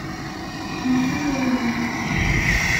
включи реалии любви